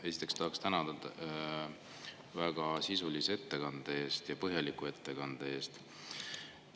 Esiteks tahaksin teid tänada väga sisulise ja põhjaliku ettekande eest.